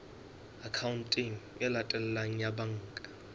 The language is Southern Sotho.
akhaonteng e latelang ya banka